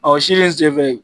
Aw sili in senfɛ